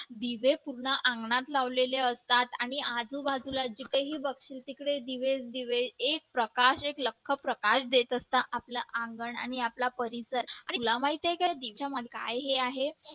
दिवे पूर्ण अंगणात लावलेले असतात आणि आजूबाजूला जिथे ही बघशील तिकडे दिवस दिवे एक प्रकाश एक लख्ख प्रकाश देत असतं आपलं आंगण आणि आपला परिसर आणि तुला माहिती आहे का काय हे आहे